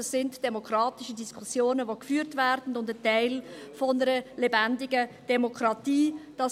Dies sind demokratische Diskussionen, welche geführt werden und Teil einer lebendigen Demokratie sind.